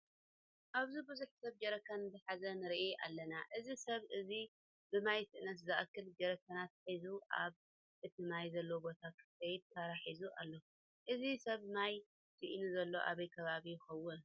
ኣብዚ ቡዙሕ ሰብ ጀረካን ዝሓዘ ንርኢ ኣለና። እዘ ሰብ እዚ ብማይ ስእነት ዝኣክል ጀረካናት ሒዙ ኣብ እቲ ማይ ዘለዎ ቦታ ከይዱ ተራ ሒዙ ኣሎ። እዚ ሰብ ማይ ስኢኑ ዘሎ ኣበይ ከባባ ይከውን?